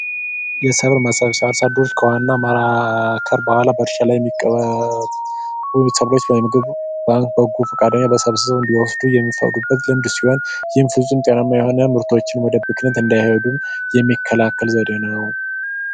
የሰብል ሰብስብ አርሶ አደሮች ከዋና ምርት በኋላ በበጎ ፈቃደኛ ሰብስበው እንዲወስዱ የሚፈቅዱበት ሲሆን ይህም ፍጹም ጤናማ የሆኑ ምርቶች ወደ ብክነት እንዳይሄዱ የሚከላከል ዘዴ ነው።